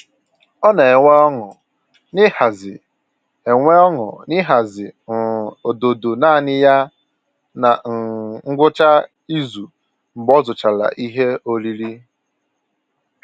Ọ na enwe ọñụ na-ịhazi enwe ọñụ na-ịhazi um ododo naanị ya na um ngwụcha izu mgbe ọ zụchara ihe oriri